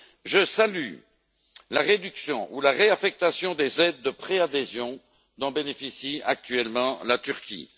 Je salue la réduction ou la réaffectation des aides de préadhésion dont bénéficie actuellement la Turquie.